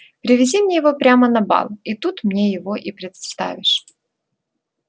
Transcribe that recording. привези мне его прямо на бал и тут мне его и представишь